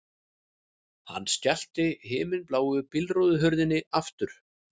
Hann skellti himinbláu bílhurðinni aftur